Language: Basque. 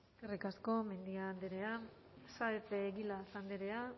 eskerrik asko mendia andrea saez de egilaz andrea